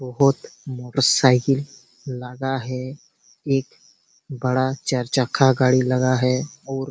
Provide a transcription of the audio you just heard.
बहुत मोटरसाइकिल लगा है एक बड़ा चार चक्का गाड़ी लगा है और --